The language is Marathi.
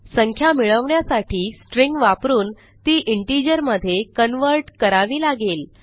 संख्या मिळवण्यासाठी स्ट्रिंग वापरून ती इंटिजर मधे कन्व्हर्ट करावी लागेल